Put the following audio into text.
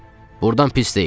Burdan pis deyil.